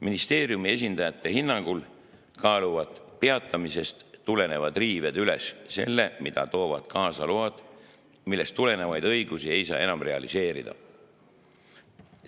Ministeeriumi esindajate hinnangul kaaluvad peatamisest tulenevad riived üles selle, mida toovad kaasa load, millest tulenevaid õigusi ei saa enam realiseerida.